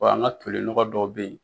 an ka toli nɔgɔ dɔ bɛ yen.